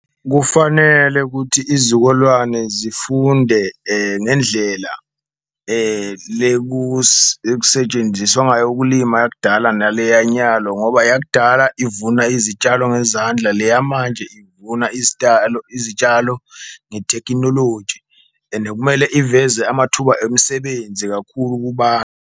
Kufanele ukuthi izukulwane zifunde ngendlela ekusetshenziswa ngayo ukulima yakudala nale yanyalo ngoba yakudala ivuna izitshalo ngezandla, le yamanje ivuna izitalo, izitshalo ngethekhinoloji ene kumele iveze amathuba emisebenzi kakhulu .